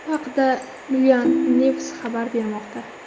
Bu haqda Milan News xabar bermoqda .